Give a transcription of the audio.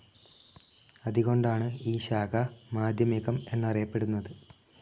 അതുകൊണ്ടാണ് ഈ ശാഖ, മാധ്യമികം എന്നറിയപ്പെടുന്നത്.